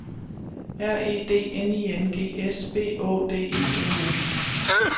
R E D N I N G S B Å D E N E